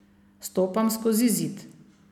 Stopam skozi zid.